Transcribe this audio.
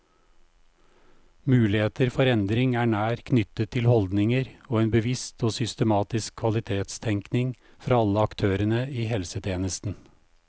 Muligheter for endring er nært knyttet til holdninger og en bevisst og systematisk kvalitetstenkning fra alle aktørene i helsetjenesten.